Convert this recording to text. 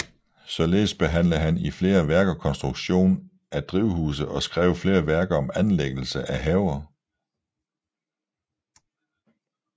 Således behandlede han i flere værker konstruktion af drivhuse og skrev flere værker om anlæggelse af haver